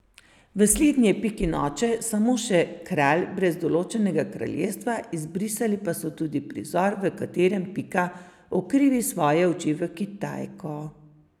V slednji je Pikin oče samo še kralj brez določenega kraljestva, izbrisali pa so tudi prizor, v katerem Pika ukrivi svoje oči v Kitajko.